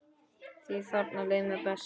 Því þarna leið mér best.